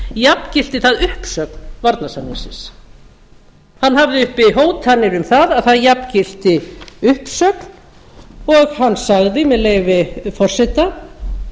jafngilti það uppsögn varnarsamningsins hann hafði uppi hótanir um að það jafngilti uppsögn og hann sagði með leyfi forseta